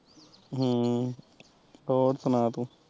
ਹਮ ਹੋਰ ਸੁਣਾ ਤੂੰ